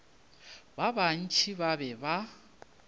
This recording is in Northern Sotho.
ba bantši ba be ba